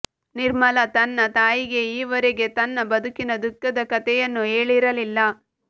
ನಿರ್ಮಲಾ ತನ್ನ ತಾಯಿಗೆ ಈವರೆಗೆ ತನ್ನ ಬದುಕಿನ ದುಃಖದ ಕತೆಯನ್ನು ಹೇಳಿರಲಿಲ್ಲ